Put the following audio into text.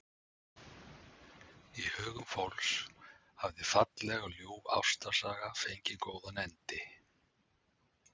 Í hugum fólks hafði falleg og ljúf ástarsaga fengið góðan endi.